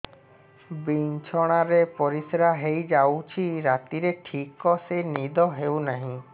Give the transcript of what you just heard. ବିଛଣା ରେ ପରିଶ୍ରା ହେଇ ଯାଉଛି ରାତିରେ ଠିକ ସେ ନିଦ ହେଉନାହିଁ